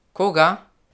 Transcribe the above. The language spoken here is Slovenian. Koga?